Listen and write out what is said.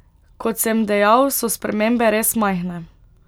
Kot sem dejal, so spremembe res majhne.